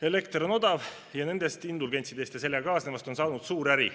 Elekter on odav ja nendest indulgentsidest ja sellega kaasnevast on saanud suur äri.